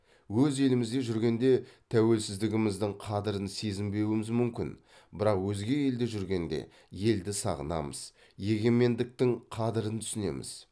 өз елімізде жүргенде тәуелсіздігіміздің қадірін сезінбеуіміз мүмкін бірақ өзге елде жүргенде елді сағынамыз егемендіктің қадірін түсінеміз